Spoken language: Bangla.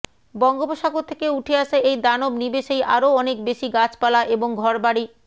বঙ্গোপসাগর থেকে উঠে আসা এই দানব নিমেষেই আরও অনেক বেশি গাছপালা এবং ঘরবাড়ি